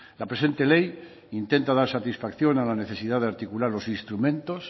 la presente ley intenta dar satisfacción a la necesidad de articular los instrumentos